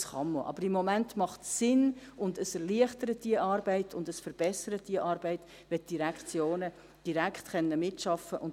Das kann man, aber im Moment macht es Sinn und erleichtert und verbessert die Arbeit, wenn die Direktionen direkt mitarbeiten können.